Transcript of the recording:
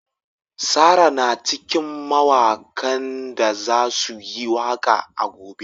Sarah na cikin mawakan da za su yi waka a gobe.